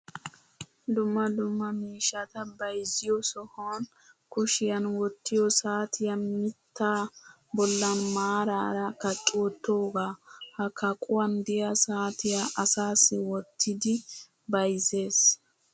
Dumma dumma miishshata bayizziyoo sohan kushiyan wottiyoo saatiyaa mittaa bollan maaraara kaqqi wottoogaa. Ha kaquwan diyaa saatiyaa asaassi wottidi bayizzes.